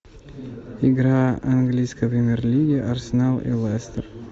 игра английской премьер лиги арсенал и лестер